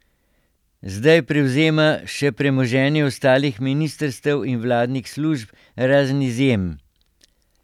Zdaj prevzema še premoženje ostalih ministrstev in vladnih služb, razen izjem.